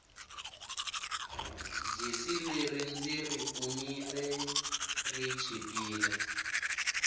jesi leri ndziri kumile ri chipile